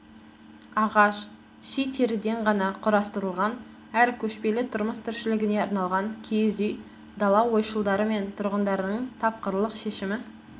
ағаш ши теріден ғана құрастырылған әрі көшпелі тұрмыс тіршілігіне арналған киіз үй дала ойшылдары мен тұрғындарының тапқырлық шешімі